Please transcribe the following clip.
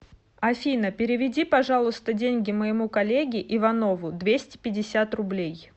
афина переведи пожалуйста деньги моему коллеге иванову двести пятьдесят рублей